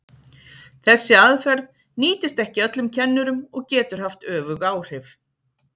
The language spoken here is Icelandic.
Þessi aðferð nýtist ekki öllum kennurum og getur haft öfug áhrif.